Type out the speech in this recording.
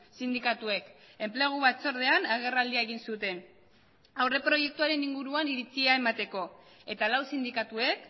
sindikatuek enplegu batzordean agerraldia egin zuten aurreproiektuaren inguruan iritzia emateko eta lau sindikatuek